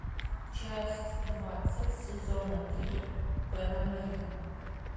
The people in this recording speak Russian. часть двадцать сезона три пэн американ